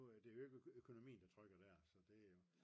det er jo ikke økonomien der trykker der så det er jo